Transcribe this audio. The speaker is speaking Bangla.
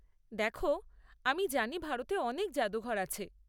দেখো, আমি জানি ভারতে অনেক জাদুঘর আছে।